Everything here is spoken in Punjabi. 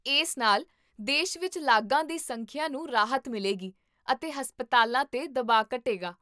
ਇਸ ਨਾਲ ਦੇਸ਼ ਵਿੱਚ ਲਾਗਾਂ ਦੀ ਸੰਖਿਆ ਨੂੰ ਰਾਹਤ ਮਿਲੇਗੀ ਅਤੇ ਹਸਪਤਾਲਾਂ 'ਤੇ ਦਬਾਅ ਘਟੇਗਾ